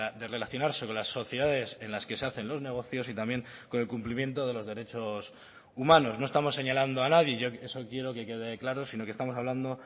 de relacionarse con las sociedades en las que se hacen los negocios y también con el cumplimiento de los derechos humanos no estamos señalando a nadie yo eso quiero que quede claro si no que estamos hablando